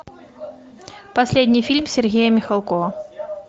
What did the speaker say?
последний фильм сергея михалкова